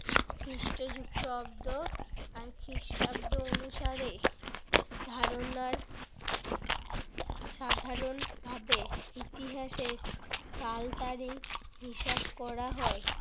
খ্রিষ্ট যুক্ত অব্দ আর খ্রিষ্টাব্দ অনুসারে ধারণার সাধারণভাবে ইতিহাসের সাল তারিখ হিসাব করা হয়।